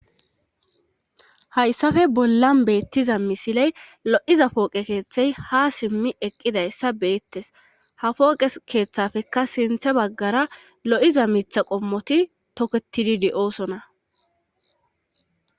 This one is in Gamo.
hayssafe bollan beettiza misiley lo'iza pooqe keeththey ha simmi eqqidayssa be'ettes ha pooqe keeththafekka sinthe baggara lo'iza mitha qommoti toketidi de'osona